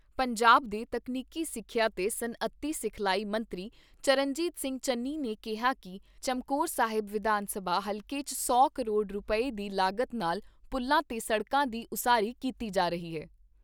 ਪੰਜਾਬ ਦੇ ਤਕਨੀਕੀ ਸਿੱਖਿਆ ਤੇ ਸੱਨਅਤੀ ਸਿਖਲਾਈ ਮੰਤਰੀ ਚਰਨਜੀਤ ਸਿੰਘ ਚੰਨੀ ਨੇ ਕਿਹਾ ਕਿ ਚਮਕੌਰ ਸਾਹਿਬ ਵਿਧਾਨ ਸਭਾ ਹਲਕੇ 'ਚ ਸੌ ਕਰੋੜ ਰੁਪਏ ਦੀ ਲਾਗਤ ਨਾਲ ਪੁਲਾਂ ਤੇ ਸੜਕਾਂ ਦੀ ਉਸਾਰੀ ਕੀਤੀ ਜਾ ਰਹੀ ਏ।